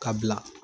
Ka bila